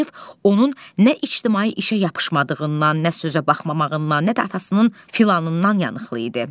Gəldiyev onun nə ictimai işə yapışmadığından, nə sözə baxmamağından, nə də atasının filanından yanıqlı idi.